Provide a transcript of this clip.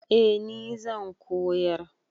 Eh ni zan koyar.